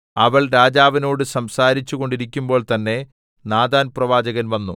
അവൾ രാജാവിനോട് സംസാരിച്ചു കൊണ്ടിരിക്കുമ്പോൾതന്നെ നാഥാൻ പ്രവാചകൻ വന്നു